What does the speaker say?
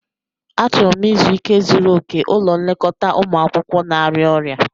Achọrọ m izu ike zuru oke ulọ nlekota umụ akwukwo na-arịa ọrịa.